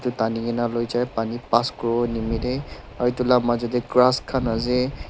itu tanigena luijai pani pass kuriwo nimeteh aro tula majo teh grass khan ase.